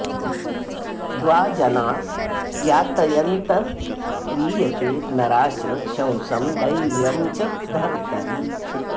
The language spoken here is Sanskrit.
द्वा जना यातयन्नन्तरीयते नरा च शंसं दैव्यं च धर्तरि